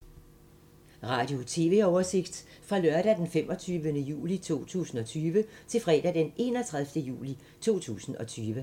Radio/TV oversigt fra lørdag d. 25. juli 2020 til fredag d. 31. juli 2020